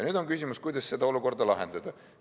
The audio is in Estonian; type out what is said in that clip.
Nüüd on küsimus selles, kuidas seda olukorda lahendada.